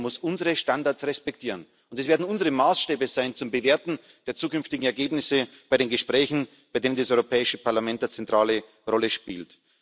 Jeder muss unsere Standards respektieren, und es werden unsere Maßstäbe sein zum Bewerten der zukünftigen Ergebnisse bei den Gesprächen, bei denen das Europäische Parlament eine zentrale Rolle spielt.